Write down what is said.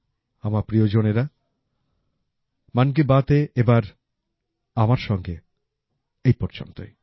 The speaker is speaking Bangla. আমার প্রিয়জনেরা মন কী বাতে এবার আমার সঙ্গে এই পর্যন্তই